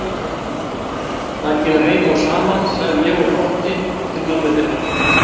Það kemur heim og saman, sagði ég og glotti til mömmu þinnar.